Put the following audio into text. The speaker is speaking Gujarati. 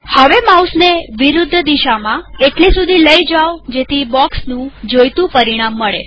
હવે માઉસને વિરુદ્ધ દિશામાં એટલે સુધી લઇ જાવ કે જેથી બોક્સનું જોઈતું પરિમાણ મળે